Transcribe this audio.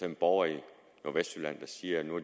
de borgere i nordvestjylland der siger nu